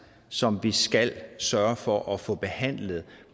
som vi skal sørge for at få behandlet